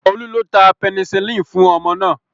Olú ló ta penicillin fún ọmọ náà